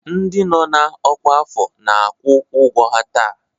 Ndị nọ na ọkwa afọ na-akwụ ụgwọ ha taa